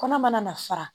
Kɔnɔ mana fara